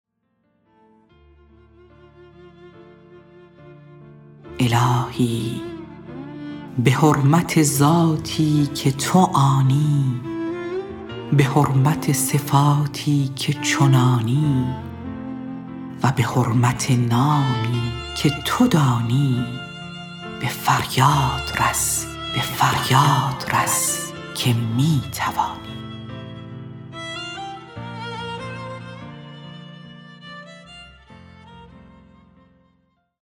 الهی بحرمت ذاتی که تو آنی بحرمت صفاتی که چنانی و بحرمت نامی که تتو دانی بفریاد رس که میتوانی